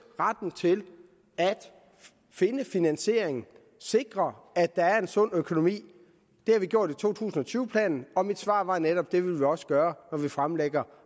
retten til at finde finansieringen at sikre at der er en sund økonomi det har vi gjort i to tusind og tyve planen og mit svar var netop at det vil vi også gøre når vi fremlægger